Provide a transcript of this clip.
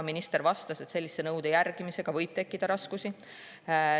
Minister vastas, et sellise nõude järgimisega võib tekkida raskusi.